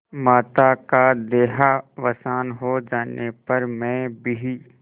माता का देहावसान हो जाने पर मैं भी